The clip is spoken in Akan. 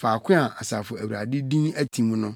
faako a Asafo Awurade din atim no.